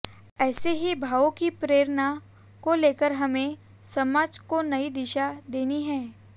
ऐसे ही भावों की प्रेरणा को लेकर हमें समाज को नई दिशा देनी है